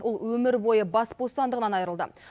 ол өмір бойы бас бостандығынан айырылды